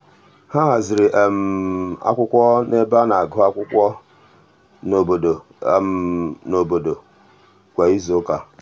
ọ haziri akwụkwọ n'ebe a na-agụ akwụkwọ n'obodo n'obodo kwa izuụka.